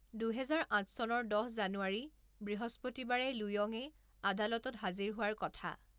দুহেজাৰ আঠ চনৰ দহ জানুৱাৰী বৃহস্পতিবাৰে লুয়ঙে আদালতত হাজিৰ হোৱাৰ কথা।